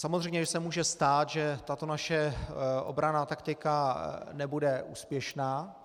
Samozřejmě že se může stát, že tato naše obranná taktika nebude úspěšná.